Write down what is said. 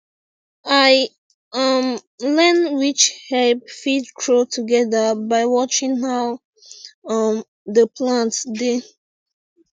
i um learn which herb fit grow together by watching how um the plants dey